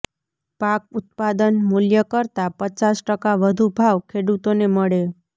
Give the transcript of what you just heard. પાક ઉત્પાદન મૂલ્ય કરતા પચાસ ટકા વધુ ભાવ ખેડૂતોને મળે